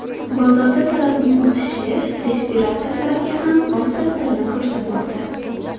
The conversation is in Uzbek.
Bozorda talabning o‘sishi respiratorlarga ham o‘z ta’sirini ko‘rsatmoqda.